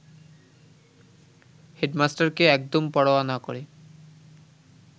হেডমাস্টারকে একদম পরোয়া না করে